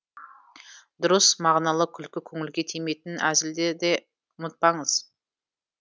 дұрыс мағыналы күлкі көңілге тимейтін әзілді де ұмытпаңыз